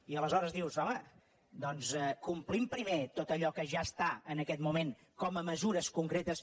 i aleshores dius home doncs complim primer tot allò que ja està en aquest moment com a mesures concretes